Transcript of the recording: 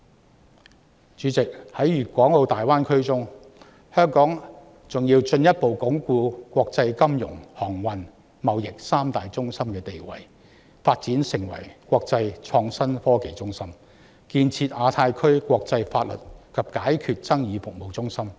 代理主席，在粵港澳大灣區中，香港還要進一步鞏固國際金融、航運及貿易三大中心的地位、發展成為國際創新科技中心，以及建設亞太區國際法律及解決爭議服務中心。